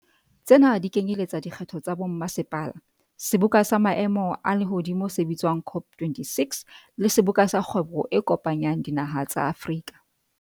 Tsena di kenyeletsa dikgetho tsa bommasepala, seboka sa maemo a lehodimo se bitswa ng COP26, le Seboka sa Kgwebo e Kopanyang Dinaha tsa Afrika.